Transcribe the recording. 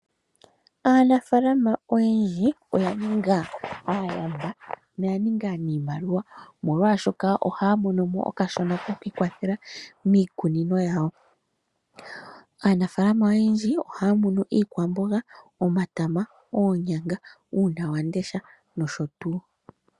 Aanafaalama oyendji oya ninga aayamba noya ninga aaniimaliwa omolwashoka ohaya monomo okashona kokwikwathela miikunino yawo. Aanafaalama oyendji ohaya munu iikwamboga, omatama, oonyanga, uunonawamundesha noshotu.